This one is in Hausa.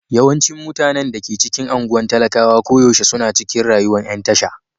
Yawancin mutanen da ke cikin anguwan talakawa koyaushe suna cikin rayuwan yan tasha.